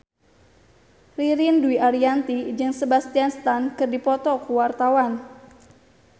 Ririn Dwi Ariyanti jeung Sebastian Stan keur dipoto ku wartawan